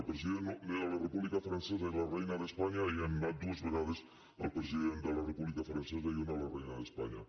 el president de la república francesa i la reina d’espanya hi han anat dues vegades el president de la república francesa i una la reina d’espanya